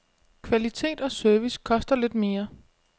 Kvalitet og service koster lidt mere.